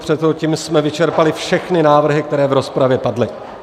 Tím jsme vyčerpali všechny návrhy, které v rozpravě padly.